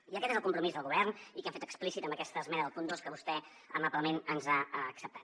i aquest és el compromís del govern i que hem fet explícit amb aquesta esmena del punt dos que vostè amablement ens ha acceptat